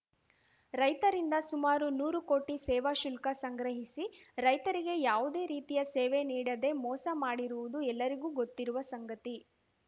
ರೈತರಿಂದ ಸುಮಾರು ನೂರು ಕೋಟಿ ಸೇವಾಶುಲ್ಕ ಸಂಗ್ರಹಿಸಿ ರೈತರಿಗೆ ಯಾವುದೇ ರೀತಿಯ ಸೇವೆ ನೀಡದೆ ಮೋಸ ಮಾಡಿರುವುದು ಎಲ್ಲರಿಗೂ ಗೊತ್ತಿರುವ ಸಂಗತಿ